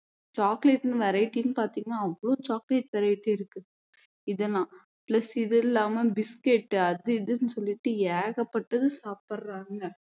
chocolate variety னு பார்த்தீங்கன்னா அவ்ளோ chocolate variety இருக்கு இதெல்லாம் plus இது இல்லாம biscuit அது இதுன்னு சொல்லிட்டு ஏகப்பட்டது சாப்பிடுறாங்க